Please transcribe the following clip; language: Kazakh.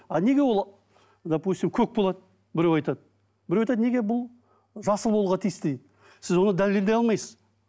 а неге ол допустим көк болады біреу айтады біреу айтады неге бұл жасыл болуға тиісті дейді сіз оны дәлелдей алмайсыз